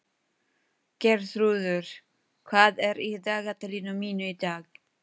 Geirþrúður, hvað er í dagatalinu mínu í dag?